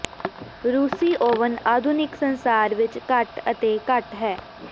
ਰੂਸੀ ਓਵਨ ਆਧੁਨਿਕ ਸੰਸਾਰ ਵਿੱਚ ਘੱਟ ਅਤੇ ਘੱਟ ਹੈ